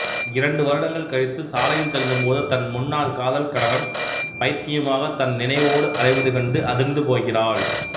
இரண்டு வருடங்கள் கழித்து சாலையில் செல்லும்போது தன் முன்னால் காதல் கணவன் பைத்தியமாக தன் நினைவோடு அலைவது கண்டு அதிர்ந்துபோகிறாள்